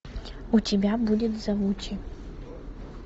у тебя будет завучи